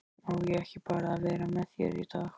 Á ég ekki bara að vera með þér í dag?